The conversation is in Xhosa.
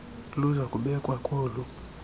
luza kubekwa kolu